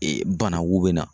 Ee banakun bɛ na.